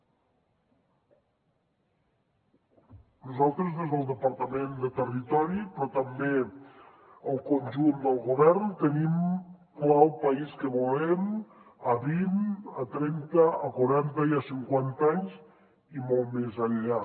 nosaltres des del departament de territori però també el conjunt del govern tenim clar el país que volem a vint a trenta a quaranta i a cinquanta anys i molt més enllà